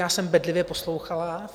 Já jsem bedlivě poslouchala.